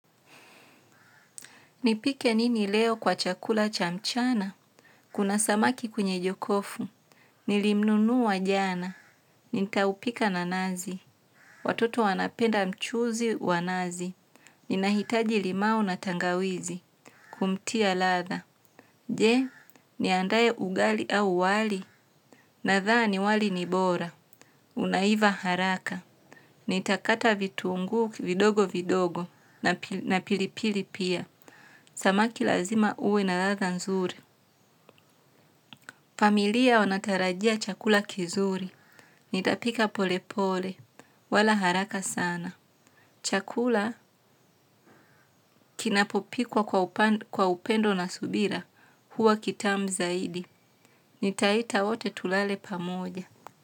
Nipike nini leo, kwa chakula cha mchana. Kuna samaki kwenye jokofu. Nilimnunua jana. Nitaupika na nazi. Watoto wanapenda mchuzi wa nazi. Ninahitaji limao na tangawizi. Kumtia ladha. Je, niandae ugali au wali. Nadhani wali ni bora. Unaiva haraka. Nitakata vitunguu vidogo vidogo na pili na pilipili pia. Samaki lazima uwe na ladha nzuri. Familia wanatarajia chakula kizuri. Nitapika polepole. Wala haraka sana. Chakula kinapopikwa kwa upendo na subira. Huwa kitamu zaidi. Nitaita wote tulale pamoja.